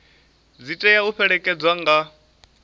dzi tea u fhelekedzwa nga